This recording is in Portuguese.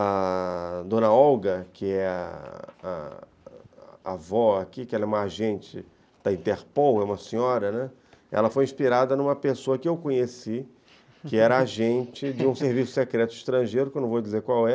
A... dona Olga, que é a a a avó aqui, que é uma agente da Interpol, é uma senhora, né, ela foi inspirada em uma pessoa que eu conheci, que era agente de um serviço secreto estrangeiro, que eu não vou dizer qual é,